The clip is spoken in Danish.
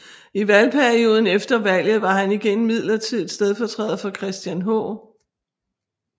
I valgperioden efter valget var han igen midlertidigt stedfortræder for Christian H